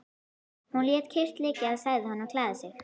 Hún lét kyrrt liggja og sagði honum að klæða sig.